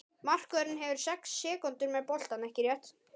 Markvörðurinn hefur sex sekúndur með boltann, ekki rétt?